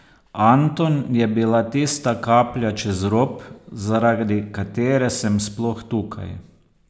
Anton je bila tista kaplja čez rob, zaradi katere sem sploh tukaj.